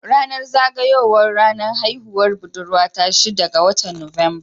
Ranar zaga yawan haihuwar budurwa ta shida ga watan Nuwamba.